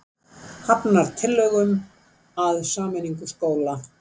Hafnar tillögum að sameiningu skóla